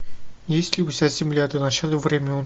есть ли у тебя земля до начала времен